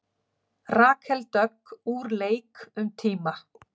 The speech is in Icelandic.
Rakel Dögg úr leik um tíma